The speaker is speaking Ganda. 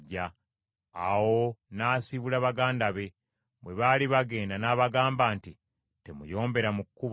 Awo n’asiibula baganda be. Bwe baali bagenda n’abagamba nti, “Temuyombera mu kkubo.”